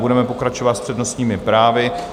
Budeme pokračovat s přednostními právy.